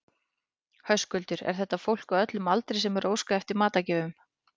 Höskuldur, er þetta fólk á öllum aldri sem er að óska eftir matargjöfum?